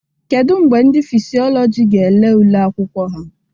Kedu mgbe ndị Fisiọlọjị ga ele ule akwụkwọ ha?